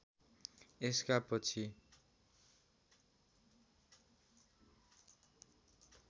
यसका पछि